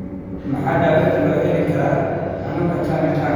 Maxaa daawaynta loo heli karaa xanuunka tunnel tunnel?